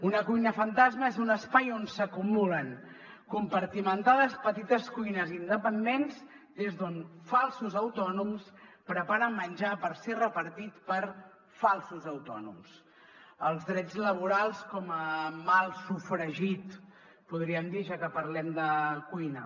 una cuina fantasma és un espai on s’acumulen compartimentades petites cuines independents des d’on falsos autònoms preparen menjar per ser repartit per falsos autònoms els drets laborals com a mal sofregit en podríem dir ja que parlem de cuina